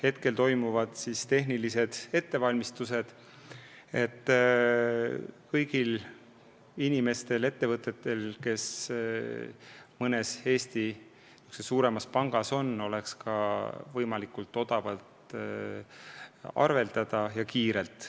Praegu toimuvad tehnilised ettevalmistused, et kõigil inimestel ja ettevõtetel, kel mõnes Eesti suuremas pangas konto on, oleks võimalik arveldada võimalikult odavalt ja kiirelt.